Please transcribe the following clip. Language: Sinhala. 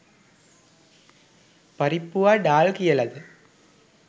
පරිප්පුවා ඩාල් කියලද